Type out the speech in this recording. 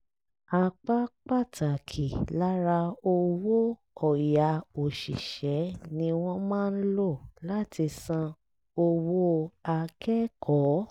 apá pàtàkì lára owó ọ̀yà òṣìṣẹ́ ni wọ́n máa ń lò láti san owó akẹ́kọ̀ọ́